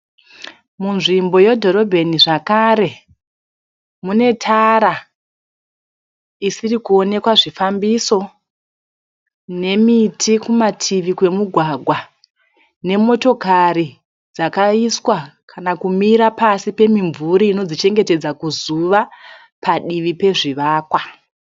Munzvimbo yedhorobheni zvakare mune tara isiri kuonekwa zvifambiso, nemiti kumativi kwemigwagwa nemotokari dzakaiswa kana kumira pasi pemimvuri inodzichengetedza kuzuva, padivi pezvivakwa.